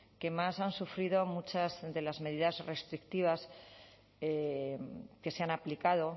que más han sufrido muchas de las medidas restrictivas que se han aplicado